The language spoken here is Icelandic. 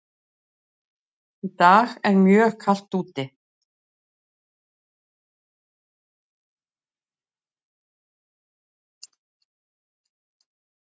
Í dag er mjög kalt úti.